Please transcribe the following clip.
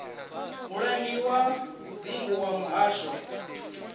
mulangi wa dzingu wa muhasho